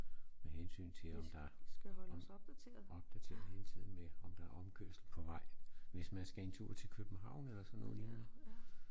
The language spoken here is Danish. Med hensyn til om der om opdateret hele tiden med om der er omkørsel på vej hvis man skal en tur til København eller sådan noget lignende